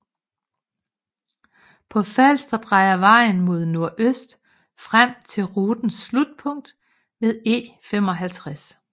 På Falster drejer vejen mod nordøst frem til rutens slutpunkt ved E55